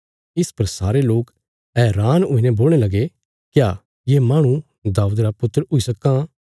इस पर सारे लोक हैरान हुईने बोलणे लगे क्या ये माहणु दाऊद रा वंशज हुई सक्कां